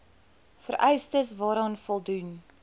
vereistes waaraan voldoen